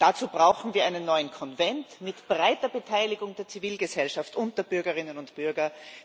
Dazu brauchen wir einen neuen Konvent mit breiter Beteiligung der Zivilgesellschaft und der Bürgerinnen und Bürger.